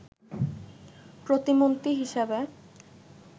প্রতিমন্ত্রী হিসেবে